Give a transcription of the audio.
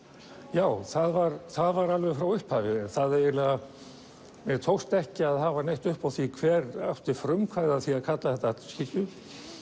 já það var það var alveg frá upphafi mér tókst ekki að hafa upp á því hver átti frumkvæðið að því að kalla þetta Hallgrímskirkju